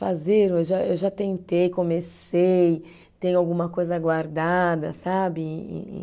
Fazer, eu já, eu já tentei, comecei, tenho alguma coisa guardada, sabe? E e e